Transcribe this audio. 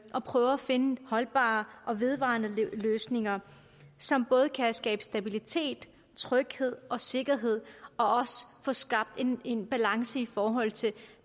og prøver at finde holdbare og vedvarende løsninger som både kan skabe stabilitet tryghed og sikkerhed og også få skabt en en balance i forhold til